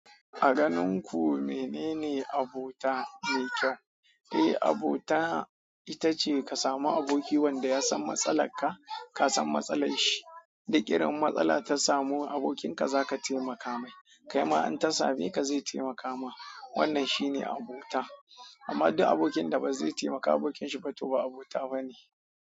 A ganin ku menene abota mai kyau? Eh, abota ita ce ka samu aboki wanda ya san matsala ka, ka san matsalar shi. Duk irin matsala ta samu abokinka za ka taimaka mai. Kaima in ta smeka zai taimaka ma wannan shi ne abota. Amma duk abokin da ba zai taimaka abokinsa ba to ba abota ba ne.